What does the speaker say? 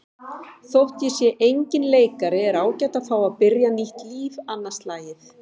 Þótt ég sé enginn leikari er ágætt að fá að byrja nýtt líf annað slagið.